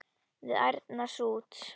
við ærna sút.